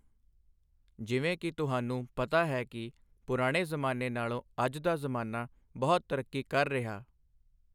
ਜਿਵੇਂ ਕਿ ਤੁਹਾਨੂੰ ਪਤਾ ਹੀ ਕਿ ਪੁਰਾਣੇ ਜ਼ਮਾਨੇ ਨਾਲ਼ੋਂ ਅੱਜ ਦਾ ਜ਼ਮਾਨਾ ਬਹੁਤ ਤਰੱਕੀ ਕਰ ਰਿਹਾ।